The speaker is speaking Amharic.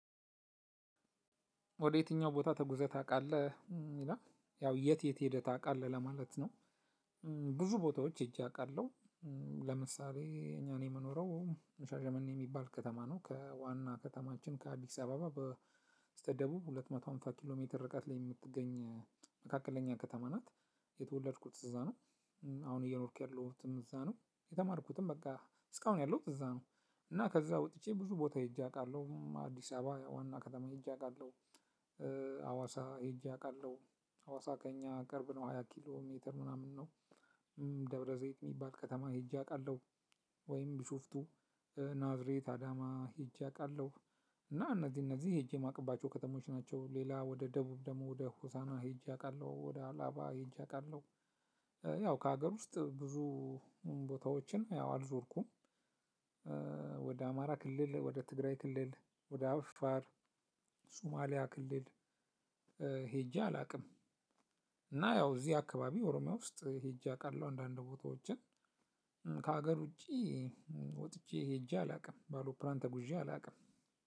ወደየትኛው ቦታ ተጉዘህ ታውቃለህ ይላል ያው የት የት ሄደህ ታውቃለህ ለማለት ነው? ብዙ ቦታዎች ሄጄ አውቃለሁ። ለምሳሌ እኔ የምኖረው ሻሸመኔ የሚባል ከተማ ነው ከዋና ከተማችን ከአዲስ አበባ በስተደቡብ ሁለት መቶ ሃምሳ ኪሎ ሜትር ርቀት ላይ የምትገኝ መካከለኛ ከተማ ናት። የተወለድኩት እዛ ነው። አሁን እየኖርኩ ያለሁትም እዛ ነው። የተማርኩትም በቃ እስካሁን ያለሁት እዛ ነው። እና ከዛ ወጥቼ ብዙ ቦታ ሄጄ አውቃለሁ አዲስ አበባ ዋና ከተማ ሄጄ አውቃለሁ። አዋሳ ሄጄ አውቃለሁ። አዋሳ ከእኛ ቅርብ ነው ሃያ ኪሎ ሜትር ምናምን ነው። ደብረዘይት የሚባል ከተማ ሄጄ አውቃለሁ። ወይም ቢሾፍቱ ናዝሬት አዳማ ሄጄ አውቃለሁ። እና እነዚህ እነዚህ ሄጄ የማውቅባቸው ከተሞች ናቸው። ሌላ ወደ ደቡብ ደግሞ ወደ ሆሳዕና ሄጄ አውቃለሁ ወደ አላባ ሄጄ አውቃለሁ። ያው ከሀገር ውስጥ ብዙ ቦታዎችን ያው አልዞርኩም። ወደ አማራ ክልል ወደ ትግራይ ክልል ወደ አፋር ሱማሌ ክልል ሄጄ አላውቅም። እና እዚህ አካባቢ ኦሮሚያ ውስጥ ሄጄ አውቃለሁ አንዳንድ ቦታዎችን። ከሀገር ውጪ ወጥቼ ሄጄ አላውቅም በአውሮፕላን ተጉዤ አላውቅም።